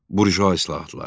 Burjua islahatları.